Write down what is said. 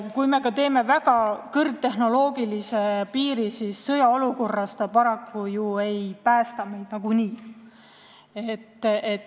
Kui me ka teeme väga kõrgtehnoloogilise piiri, siis sõjaolukorras see meid paraku nagunii ei päästa.